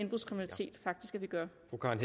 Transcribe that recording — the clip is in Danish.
vi gør